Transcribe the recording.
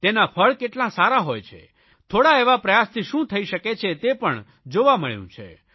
તેના ફળ કેટલા સારા હોય છે થોડા એવા પ્રયાસથી શું થાય છે તે પણ જોવા મળ્યું છે